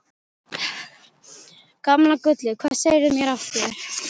Gamla gullið, hvað segirðu mér af þér?